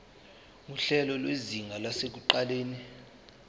nguhlelo lwezinga lasekuqaleni